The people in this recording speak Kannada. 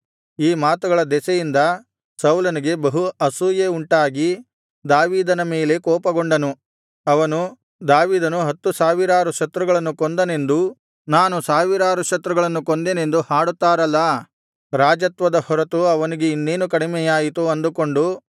ಈ ಮಾತುಗಳ ದೆಸೆಯಿಂದ ಸೌಲನಿಗೆ ಬಹು ಅಸೂಯೆ ಉಂಟಾಗಿ ದಾವೀದನ ಮೇಲೆ ಕೋಪಗೊಂಡನು ಅವನು ದಾವೀದನು ಹತ್ತು ಸಾವಿರಾರು ಶತ್ರುಗಳನ್ನು ಕೊಂದನೆಂದೂ ನಾನು ಸಾವಿರಾರು ಶತ್ರುಗಳನ್ನು ಕೊಂದೆನೆಂದೂ ಹಾಡುತ್ತಾರಲ್ಲಾ ರಾಜತ್ವದ ಹೊರತು ಅವನಿಗೆ ಇನ್ನೇನು ಕಡಿಮೆಯಾಯಿತು ಅಂದುಕೊಂಡು